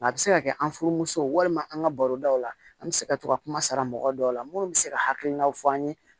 A bɛ se ka kɛ an furumusow walima an ka baro daw la an bɛ se ka to ka kuma sara mɔgɔ dɔw la minnu bɛ se ka hakilinaw fɔ an ye